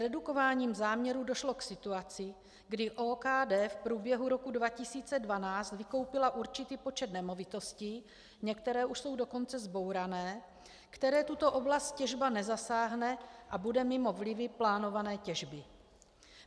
Zredukováním záměrů došlo k situaci, kdy OKD v průběhu roku 2012 vykoupila určitý počet nemovitostí, některé už jsou dokonce zbourané, které tuto oblast těžba nezasáhne, a bude mimo vlivy plánované těžby.